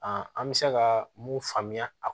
an bɛ se ka mun faamuya a